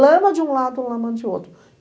Lama de um lado, lama de outro.